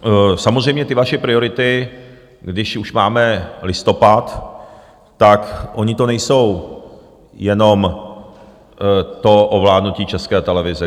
Samozřejmě ty vaše priority, když už máme listopad, tak ono to není jenom to ovládnutí České televize.